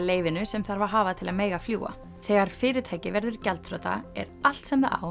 leyfinu sem þarf að hafa til að mega fljúga þegar fyrirtæki verður gjaldþrota er allt sem það á